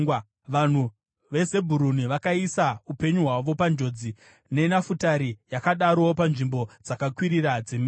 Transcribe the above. Vanhu veZebhuruni vakaisa upenyu hwavo panjodzi; neNafutari yakadarowo panzvimbo dzakakwirira dzeminda.